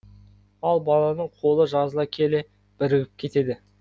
ал баланың қолы жазыла келе бірігіп кетеді